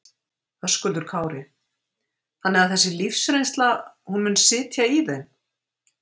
Höskuldur Kári: Þannig að þessi lífsreynsla, hún mun sitja í þeim?